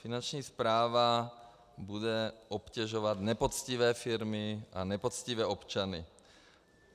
Finanční správa bude obtěžovat nepoctivé firmy a nepoctivé občany.